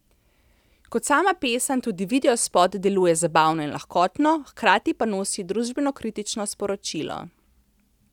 Kot sama pesem tudi videospot deluje zabavno in lahkotno, hkrati pa nosi družbenokritično sporočilo.